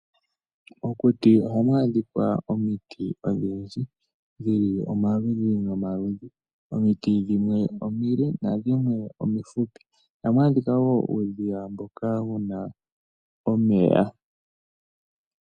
Mokuti oha mwadhika omiti odhindji dhili omaludhi nomaludhi omiti dhimwe omile nadhimwe omifupi, oha mwadhika wo uudhiya mboka wuna omeya.